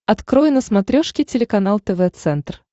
открой на смотрешке телеканал тв центр